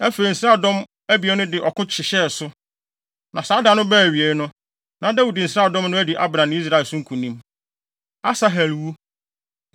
Afei, nsraadɔm abien no de ɔko hyehyɛɛ so, na saa da no baa awiei no, na Dawid nsraadɔm no adi Abner ne Israel so nkonim. Asahel Wu